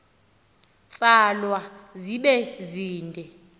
tsalwa zibe zide